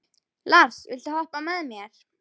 Lars, viltu hoppa með mér?